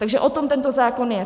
Takže o tom tento zákon je.